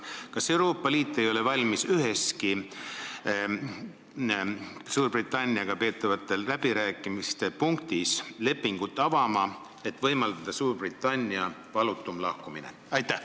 Kas Euroopa Liit ei ole valmis üheski Suurbritanniaga peetavate läbirääkimiste punktis lepingut avama, et võimaldada Suurbritannia valutum lahkumine?